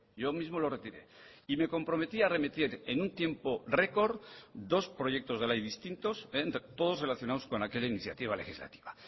yo mismo lo retiré y me comprometí a remitir en un tiempo record dos proyectos de ley distintos todos relacionados con aquella iniciativa legislativa